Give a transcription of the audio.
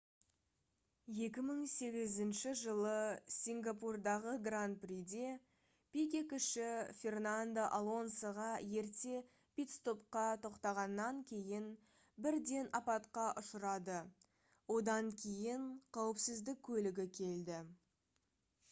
2008 жылы сингапурдағы гран-приде пике-кіші фернандо алонсоға ерте питстопқа тоқтағаннан кейін бірден апатқа ұшырады одан кейін қауіпсіздік көлігі келді